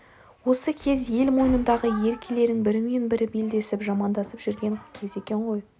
осы кез ел мойнындағы еркелерің бірімен-бірі белдесіп жамандасып жүрген кез екен ғой